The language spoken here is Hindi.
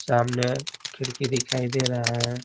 सामने खिड़की दिखाई दे रहा है।